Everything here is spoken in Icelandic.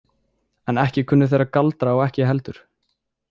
En ekki kunnu þeir að galdra og ég ekki heldur.